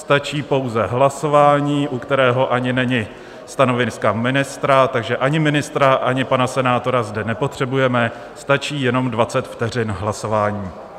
Stačí pouze hlasování, u kterého ani není stanovisko ministra, takže ani ministra ani pana senátora zde nepotřebujeme, stačí jenom 20 vteřin hlasování.